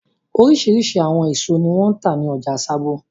Oríṣiríṣi àwọn èso ni wọ́n ń tà ní ọjà Sábó.